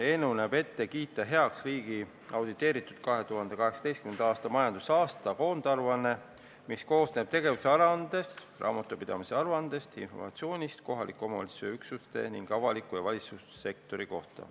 Eelnõu näeb ette kiita heaks riigi auditeeritud 2018. aasta majandusaasta koondaruanne, mis koosneb tegevusaruandest, raamatupidamise aruandest, informatsioonist kohaliku omavalitsuse üksuste ning avaliku ja valitsussektori kohta.